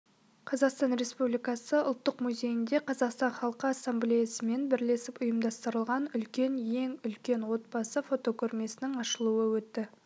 қазақстан республикасы ұлттық музейінде қазақстан халқы ассамблеясымен бірлесіп ұйымдастырылған үлкен ел үлкен отбасы фотокөрмесінің ашылуы өтті